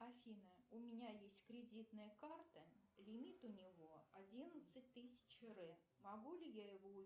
афина у меня есть кредитная карта лимит у него одиннадцать тысяч р могу ли я его